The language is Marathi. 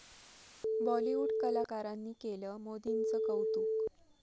बॉलिवूड कलाकारांनी केलं मोदींचं कौतुक